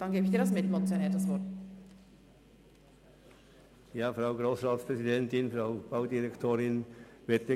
Dann erteile ich ihm als Mitmotionär das Wort.